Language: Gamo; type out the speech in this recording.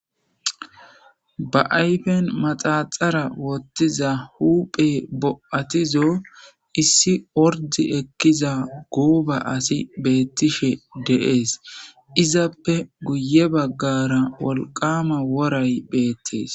Ba ayfen maxaxara wothiza huphey bo'atizo issi ord ekiza gooba asy betishe de'es, izappe guye bagara wolqama woray betes .